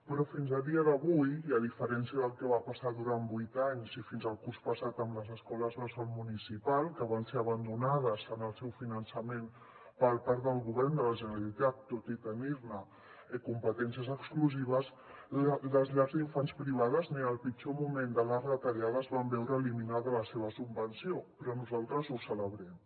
però fins a dia d’avui i a diferència del que va passar durant vuit anys i fins al curs passat amb les escoles bressol municipals que van ser abandonades en el seu finançament per part del govern de la generalitat tot i tenir ne competències exclusives les llars d’infants privades ni en el pitjor moment de les retallades van veure eliminada la seva subvenció i nosaltres ho celebrem